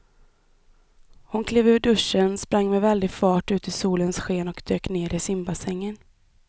Hon klev ur duschen, sprang med väldig fart ut i solens sken och dök ner i simbassängen.